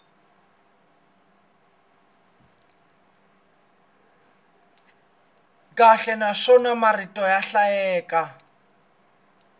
kahle naswona marito ya hlayeka